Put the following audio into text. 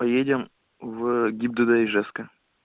поедем в гибдд ижевска